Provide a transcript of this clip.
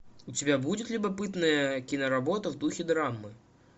у тебя будет любопытная киноработа в духе драмы